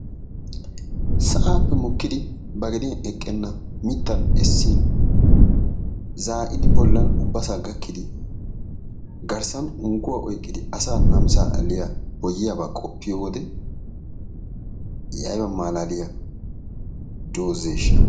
Sa"aappe mokkidi ba gediyan eqqenna mittan essin zaa"idi bollan ubbasaa gakkidi garssan unkkuwa oykkidi asaa namisaa aliya boyyiyabaa qoppiyo wode i ayba malaaliya doozzeeshsha.